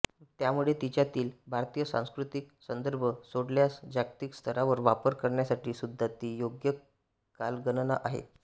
त्यामुळे तिच्यातील भारतीय सांस्कृतिक संदर्भ सोडल्यास जागतिक स्तरावर वापर करण्यासाठी सुद्धा ती योग्य कालगणना आहे